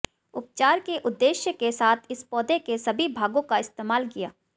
उपचार के उद्देश्य के साथ इस पौधे के सभी भागों का इस्तेमाल किया